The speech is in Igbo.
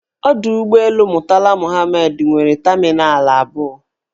Ọdọụgbọelu Murtala Muhammed nwere tamịnal abụọ.